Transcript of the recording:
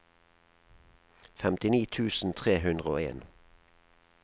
femtini tusen tre hundre og en